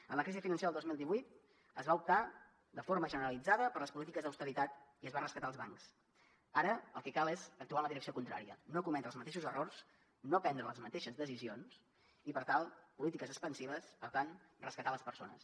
en la crisi financera del dos mil divuit es va optar de forma generalitzada per les polítiques d’austeritat i es va rescatar els bancs ara el que cal és actuar en la direcció contrària no cometre els mateixos errors no prendre les mateixes decisions i per tant polítiques expansives per tant rescatar les persones